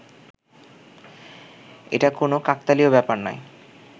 এটা কোনও কাকতালীয় ব্যাপার নয়